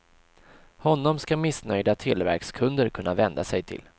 Honom ska missnöjda televerkskunder kunna vända sig till.